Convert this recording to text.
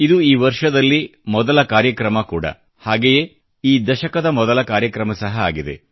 ಇದು ಈ ವರ್ಷದಲ್ಲಿ ಮೊದಲ ಕಾರ್ಯಕ್ರಮ ಕೂಡ ಹಾಗೆಯೇ ಈ ದಶಕದ ಮೊದಲ ಕಾರ್ಯಕ್ರಮ ಸಹ ಆಗಿದೆ